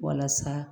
Walasa